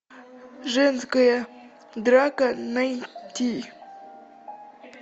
женская драка найти